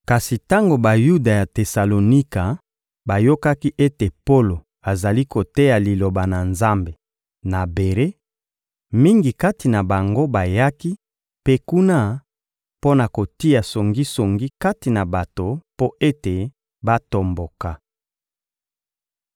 Kasi tango Bayuda ya Tesalonika bayokaki ete Polo azali koteya Liloba na Nzambe na Bere, mingi kati na bango bayaki mpe kuna mpo na kotia songisongi kati na bato mpo ete batomboka.